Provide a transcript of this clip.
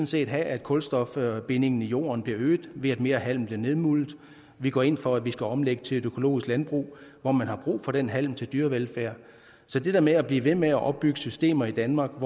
set have at kulstofbindingen i jorden bliver øget ved at mere halm bliver nedmuldet vi går ind for at vi skal omlægge til et økologisk landbrug hvor man har brug for den halm til dyrevelfærd så det der med at blive ved med at opbygge systemer i danmark